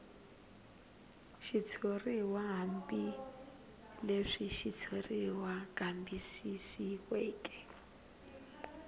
xitshuriw hambileswi xitshuriwa kambisisiweke